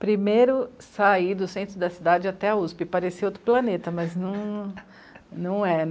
Primeiro, sair do centro da cidade até a u esse pê, parecia outro planeta, mas não é, né?